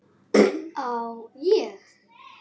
Á ég.?